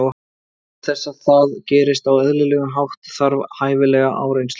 Til þess að það gerist á eðlilegan hátt þarf hæfilega áreynslu.